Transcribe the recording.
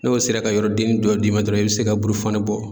N'o sera ka yɔrɔ dennin dɔ d'i ma dɔrɔn i bɛ se ka burufani bɔ.